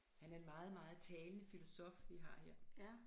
Han er en meget meget talende filosof vi har her